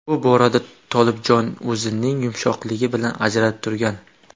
Bu borada Tolibjonov o‘zining yumshoqligi bilan ajralib turgan.